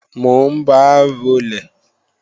Mò ń ba rolè